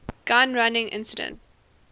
gun running incident